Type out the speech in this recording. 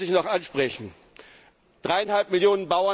Eine Sache muss ich noch ansprechen 3,5